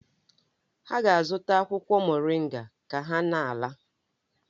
Ha ga-azụta akwụkwọ moringa ka ha na-ala.